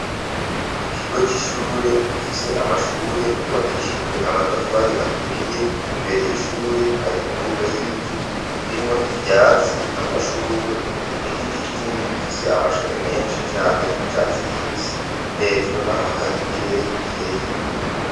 Ikigo c'ishure gifise amashure yubakishijwe amatafari aturiye imbere y'ishure hari imbuga y'ibivu rimwo ivyatsi amashugwe n'igiti kinini gifise amashami menshi cane y'icatsi kibisi hejuru naho hari ikirere gikeye.